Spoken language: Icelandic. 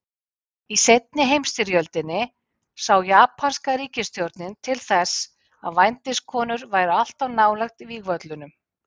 Í seinni heimsstyrjöldinni sá japanska ríkisstjórnin til þess að vændiskonur væru alltaf nálægt vígvöllunum.